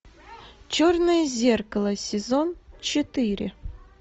черное зеркало сезон четыре